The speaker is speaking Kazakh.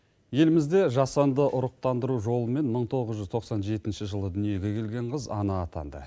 елімізде жасанды ұрықтандыру жолымен мың тоғыз жүз тоқсан жетінші жылы дүниеге келген қыз ана атанды